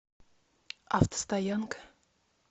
автостоянка